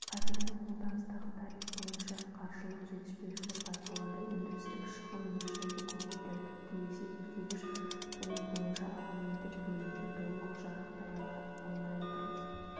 қазіргі қолданыстағы тариф бойынша қаржылық жетіспеушілік байқалады өндірістік шығын мөлшері көбейді тіпті есептегіш қою бойынша абоненттік бөлімді толық жарақтай алмай отырмыз